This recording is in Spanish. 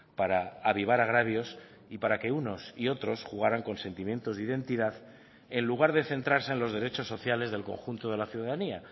para avivar agravios y para que unos y otros jugaran con sentimientos de identidad en lugar de centrarse en los derechos sociales del conjunto de la ciudadanía